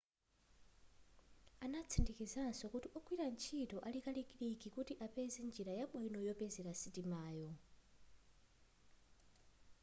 anatsindikanso kuti ogwira ntchito ali kalikiliki kuti apeze njira yabwino yopezera sitimayo